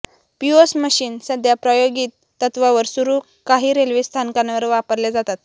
POS machine सध्या प्रायोगित तत्वावर सुरू काही रेल्वे स्थानकांवर वापरल्या जातात